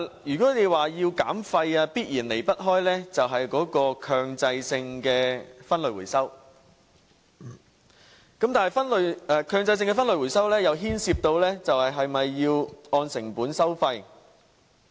如果要減廢，必然離不開強制性分類回收，但強制性分類回收又牽涉是否需要按成本收費。